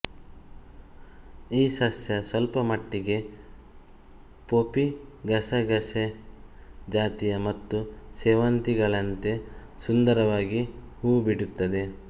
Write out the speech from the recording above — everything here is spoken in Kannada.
ಈ ಸಸ್ಯ ಸ್ಪಲ್ಪಮಟ್ಟಿಗೆ ಪೊಪಿ ಗಸಗಸೆ ಜಾತಿ ಮತ್ತು ಸೇವಂತಿಗೆಗಳಂತೆ ಸುಂದರವಾಗಿ ಹೂಬಿಡುತ್ತದೆ